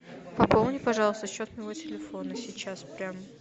пополни пожалуйста счет моего телефона сейчас прям